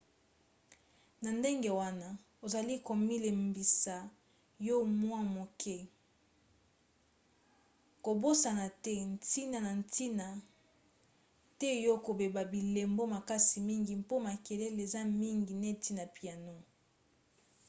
na ndenge wana ozali komilembisa yo moko mwa moke. kobosana te ntina na ntina te ya kobeta bilembo makasi mingi mpo makelele eza mingi neti na piano